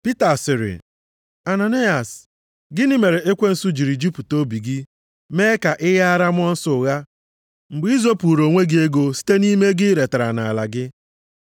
Pita sịrị, “Ananayas, gịnị mere ekwensu jiri jupụta obi gị mee ka ị ghaara mmụọ nsọ ụgha mgbe i zopuuru onwe gị ego site nʼime ego i retara nʼala gị?